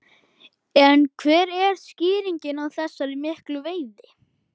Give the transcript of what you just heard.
En hver er skýringin á þessari miklu veiði?